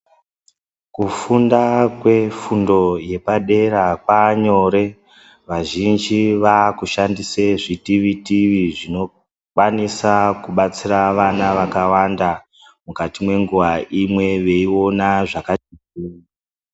Kufunda kwefundo yepadera kwaanyore. Vazhinji vaakushandise zvitivitivi zvinokwanisa kubatsira vana vakawanda mukati mwenguwa imwe veiona zvakanaka .